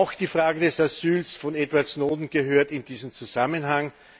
Auch die Frage des Asyls von Edward Snowden gehört in diesen Zusammenhang.